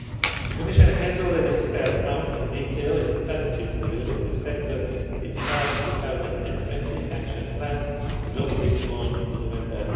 future. The Commission has already spelled out in detail its strategy for the automotive sector in the CARS 2020 Action Plan, adopted on 8 November